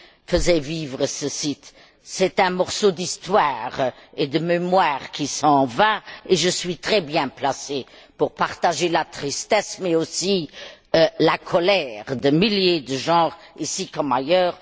faisaient vivre ce site. C'est un morceau d'histoire et de mémoire qui s'en va et je suis très bien placée pour partager la tristesse mais aussi la colère de milliers de gens, ici comme ailleurs.